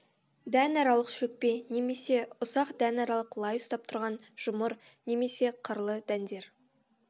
дәнаралық шөкпе немесе ұсақ дәнаралық лай ұстап тұрған жұмыр немесе қырлы дәндер